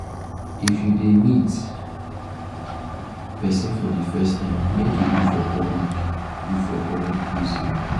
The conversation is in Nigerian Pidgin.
if you dey meet pesin for de first time make e be for public be for public place oo.